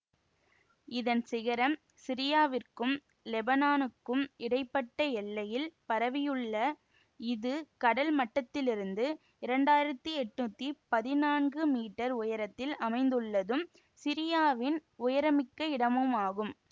இதன் சிகரம் சிரியாவிற்கும் லெபனானுக்கும் இடை பட்ட எல்லையில் பரவியுள்ள இது கடல் மட்டத்திலிருந்து இரண்டு ஆயிரத்தி எண்ணூற்றி பதினான்கு மீட்டர் உயரத்தில் அமைந்துள்ளதும் சிரியாவின் உயரமிக்க இடமுமாகும்